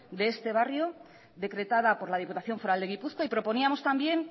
de este barrio decretada por la diputación foral de gipuzkoa y proponíamos también